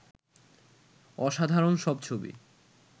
অসাধারণ সব ছবি